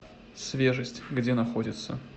свежесть где находится